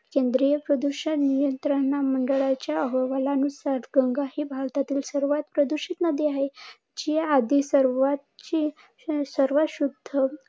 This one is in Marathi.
केंद्रीय प्रदूषण नियंत्रण मंडळाच्या अहवालानुसार गंगा ही भारतातील सर्वात प्रदूषित नदी आहे. जी आधी सर्वात शुध्द